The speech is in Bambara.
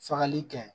Fagali kɛ